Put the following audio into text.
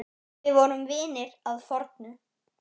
Við vorum vinir að fornu.